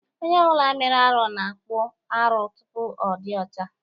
Onye ọ bụla mere arụ na-akpụ arụ tupu ọ dị ọcha.